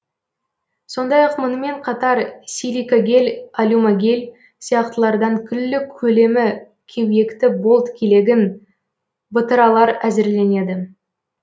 сондай ақ мұнымен қатар силикогель алюмогель сияқтылардан күллі көлемі кеуекті болт келегін бытыралар әзірленеді